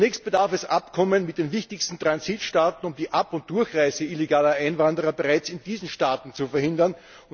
Zunächst bedarf es Abkommen mit den wichtigsten Transitstaaten, um die Ab und Durchreise illegaler Einwanderer bereits in diesen Staaten zu verhindern.